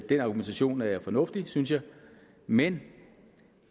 den argumentation er fornuftig synes jeg men